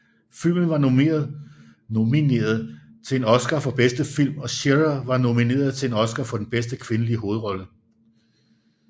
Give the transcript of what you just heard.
Filmen var nomineret til en Oscar for bedste film og Shearer var nomineret til en Oscar for bedste kvindelige hovedrolle